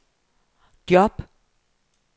job